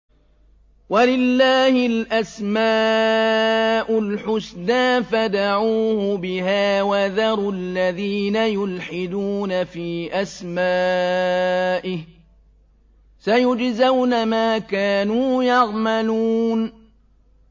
وَلِلَّهِ الْأَسْمَاءُ الْحُسْنَىٰ فَادْعُوهُ بِهَا ۖ وَذَرُوا الَّذِينَ يُلْحِدُونَ فِي أَسْمَائِهِ ۚ سَيُجْزَوْنَ مَا كَانُوا يَعْمَلُونَ